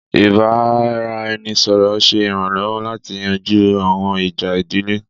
Ìbára-ẹni-sọ̀rọ̀ ń ṣe iranlọwọ láti yanjú àwọn ìjà ìdílé